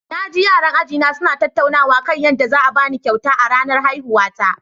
Na ji yaran ajina suna tattaunawa kan yadda zan ba ni kyauta a ranar haihuwata.